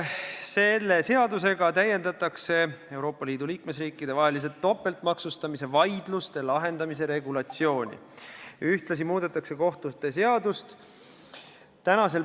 Selle eesmärk on täiendada Euroopa Liidu riikide vaheliste topeltmaksustamise vaidluste lahendamise regulatsiooni ja muuta ka kohtute seadust.